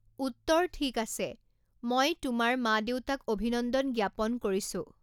উত্তৰ ঠিক আছে, মই তোমাৰ মা দেউতাক অভিনন্দন জ্ঞাপন কৰিছো।